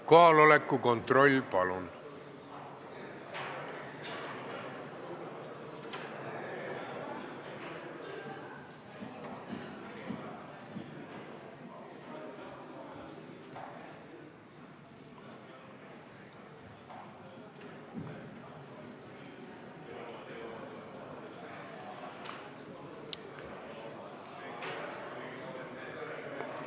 Kohaloleku kontroll, palun!